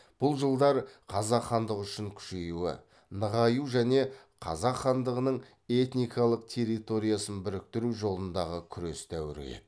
бұл жылдар қазақ хандығы үшін күшею нығаю және қазақ хандығының этникалық территориясын біріктіру жолындағы күрес дәуірі еді